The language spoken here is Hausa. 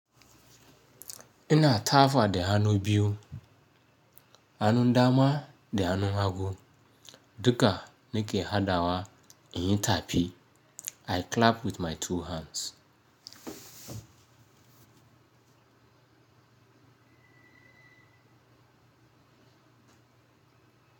Ina tafa da hannu biyu, hannun dama da hannun hagu, duka nake hadawa in yi taɓi. I clap with my two hands.